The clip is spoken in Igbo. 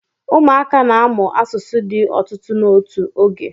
ụmụaka na-amụ asụsụ di otutu n'otu oge